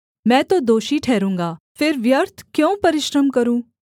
मैं तो दोषी ठहरूँगा फिर व्यर्थ क्यों परिश्रम करूँ